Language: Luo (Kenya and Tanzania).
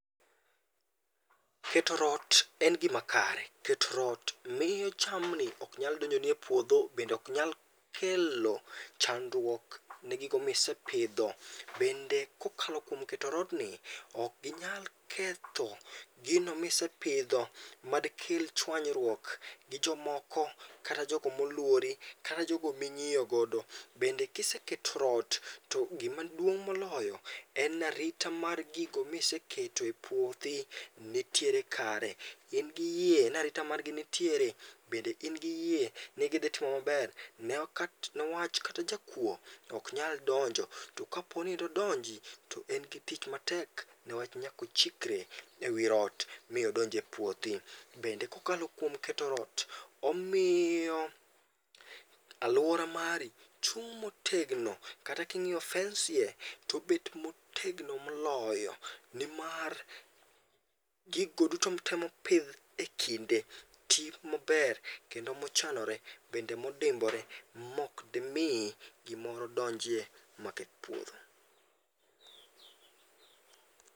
Keto rot en gimakare. Keto rot miyo jamni ok nyal donjoni e puodho, bende ok nyal kelo chandruok ne gigo misepidho. Bende kokalo kuom keto rodni, ok ginyal ketho gino misepidho madikel chuanyruok gi jomoko kata jogo moluori kata jogo ma ing'iyo godo. Bende kiseketo to gimaduong' moloyo en ni arita gigo mantiere e puothi ni kare. In gi yie ni arita margi nitiere, bende in gi yie ni idhi timo maber newach kata jakuo ok nyal donjo to kapo ni dodonji to en gi tich matek newach nyaka ochikre ewi rot mi odonji epuothi. Bende kokalo kuom keto rot omiyo aluora mari chung' motegno kata ka ing'iyo fence tobet motegno moloyo. Nimar gigo duto mitemo pidh ekinde twi maber kendo mochanore bende modimbore ma ok dimi gimoro donjie maketh puodho.